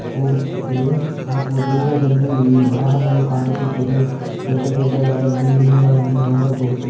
ಹೋಗುತ್ತಿದೆ ಹಾಗಿ ದೂರದಲ್ಲಿ ವಾಹನಗಳು ಕಾಣಿಸುತ್ತಿದೆ ದೊಡ್ಡ ದೊಡ್ಡದಾದ ಬಿಲ್ಡಿಂಗ್ ಗಳನ್ನು ನೋಡಬಹುದು.